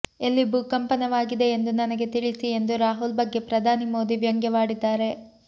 ಎಲ್ಲಿ ಭೂಕಂಪನವಾಗಿದೆ ಎಂದು ನನಗೆ ತಿಳಿಸಿ ಎಂದು ರಾಹುಲ್ ಬಗ್ಗೆ ಪ್ರಧಾನಿ ಮೋದಿ ವ್ಯಂಗ್ಯವಾಡಿದ್ದಾರೆ